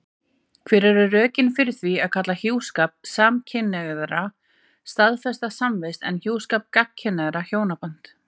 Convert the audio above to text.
Hver eru rökin fyrir því að kalla hjúskap samkynhneigðra staðfesta samvist en hjúskap gagnkynhneigðra hjónaband?